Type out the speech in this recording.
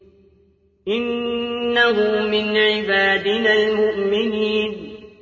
إِنَّهُ مِنْ عِبَادِنَا الْمُؤْمِنِينَ